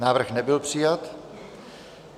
Návrh nebyl přijat.